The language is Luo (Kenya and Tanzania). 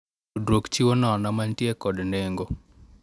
Tudruok chiwo nono mantie kod nengo.